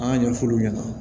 An y'a ɲɛfɔ olu ɲɛna